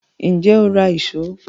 Ǹjẹ́ o ra ìṣó